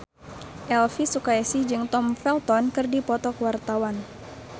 Elvi Sukaesih jeung Tom Felton keur dipoto ku wartawan